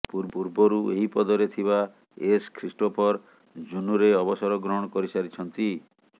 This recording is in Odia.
ପୂର୍ବରୁ ଏହି ପଦରେ ଥିବା ଏସ ଖ୍ରୀଷ୍ଟୋଫର ଜୁନ୍ରେ ଅବସର ଗ୍ରହଣ କରିସାରିଛନ୍ତି